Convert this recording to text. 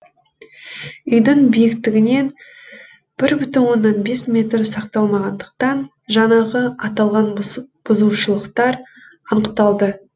үйдің биіктігінен бір бүтін оннан бес метр сақталмағандықтан жаңағы аталған бұзушылықтар анықталды